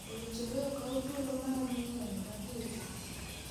Owinjore okaw thuolo maom ng�eny ma dhi e tich?